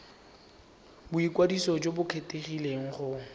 boikwadiso jo bo kgethegileng go